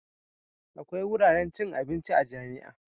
Akwai wuraren cin abinci a jami'a.